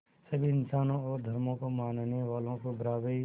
सभी इंसानों और धर्मों को मानने वालों को बराबरी